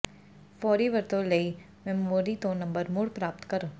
ਫੌਰੀ ਵਰਤੋਂ ਲਈ ਮੈਮੋਰੀ ਤੋਂ ਨੰਬਰ ਮੁੜ ਪ੍ਰਾਪਤ ਕਰੋ